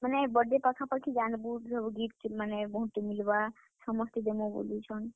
ମାନେ birthday ପାଖା ପାଖି ଯାନ୍ ବୁ gift ମାନେ ବହୁତ ଟେ ମିଲ୍ ବା ସମସ୍ତେ ଦେମୁ ବୋଲୁଛନ୍।